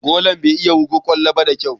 Golan bai iya wurga ƙwallo da kyau ba.